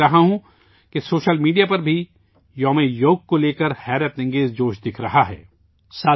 میں دیکھ رہا ہوں کہ سوشل میڈیا پر بھی یوگا ڈے کے حوالے سے زبردست جوش و خروش ہے